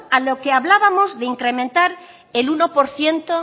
a lo que hablábamos de incrementar el uno por ciento